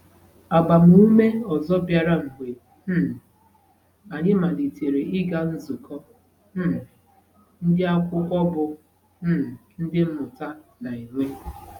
Agbamume ọzọ bịara mgbe um anyị malitere ịga nzukọ um ndị akwụkwọ bụ́ um Ndị Mmụta na-enwe.